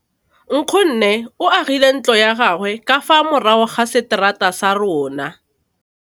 Nkgonne o agile ntlo ya gagwe ka fa morago ga seterata sa rona.